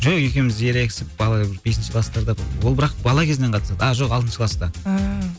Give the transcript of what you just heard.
жоқ екеуміз ерегісіп бала бесінші кластарда ол бірақ бала кезінен қатысады а жоқ алтыншы класта ааа